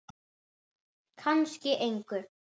Kannski engu.